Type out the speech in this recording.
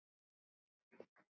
Eigum við að breyta því?